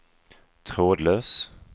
trådlös